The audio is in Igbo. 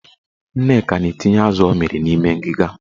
Nneka na-etinye azụ ọ mịrị n'ime ngiga.